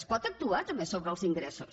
es pot actuar també sobre els ingressos